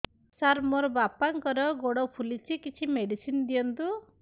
ସାର ମୋର ବାପାଙ୍କର ଗୋଡ ଫୁଲୁଛି କିଛି ମେଡିସିନ ଦିଅନ୍ତୁ